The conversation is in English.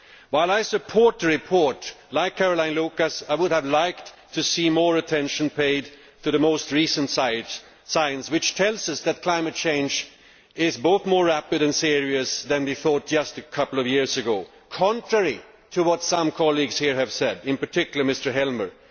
While I support the report, like Caroline Lucas I would have liked to see more attention paid to the most recent signs, which tell us that climate change is both more rapid and serious than we thought just a couple of years ago contrary to what some colleagues here have said, in particular Mr Helmer.